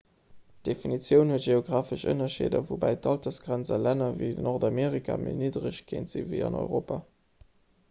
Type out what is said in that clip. d'definitioun huet geografesch ënnerscheeder woubäi d'altersgrenz a länner ewéi nordamerika méi niddereg kéint sinn ewéi an europa